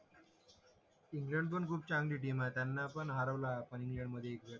England पण खूप चांगली टीम आहे त्यांना पण हरवला पण इंडिया मध्ये